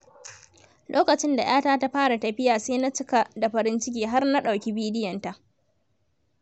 Lokacin da ‘yata ta fara tafiya, sai na cika da farin ciki har na ɗauki bidiyonta.